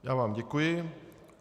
Já vám děkuji.